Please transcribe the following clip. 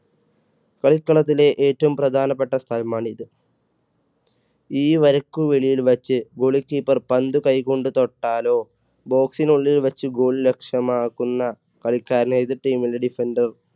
കളിക്കളത്തിലെ ഏറ്റവും പ്രധാനപ്പെട്ട സ്ഥലമാണിത്. ഈ വരയ്ക്കു വെളിയിൽ വച്ച് goli keeper പന്ത് കൈകൊണ്ട് തൊട്ടാലോ box നുള്ളിൽ വെച്ച് goal ലക്ഷ്യമാക്കുന്ന കളിക്കാരനെ എതിർ team ൻറെ defender